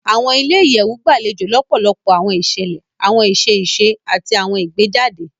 Awọn ilé-iyẹwu gbalejo lọpọlọpọ awọn iṣẹlẹ, awọn iṣẹ iṣe, ati awọn ìgbéjáde